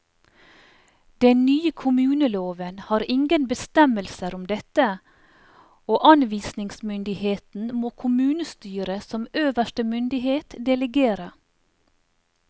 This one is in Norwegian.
Den nye kommuneloven har ingen bestemmelser om dette, og anvisningsmyndigheten må kommunestyret som øverste myndighet delegere.